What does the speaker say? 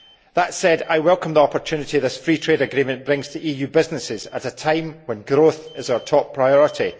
That said, I welcome the opportunity this Free Trade Agreement brings to EU businesses at a time when growth is our top priority.